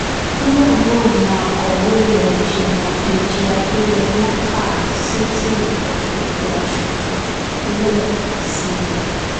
nígbà náà ni akọ̀wé ìlèéjìmọ̀ dèjì adéyémọ̀ kà á sétíìgbọ́ gbogbo asòfin lẹ́ẹ̀kan sí i